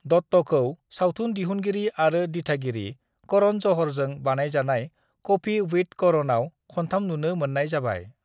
दत्तखौ सावथुन दिहुनगिरि आरो दिथागिरि करण ज'हरजों बानजायजानाय कफी विथ करणआव खनथाम नुनो मोन्नाय जाबाय।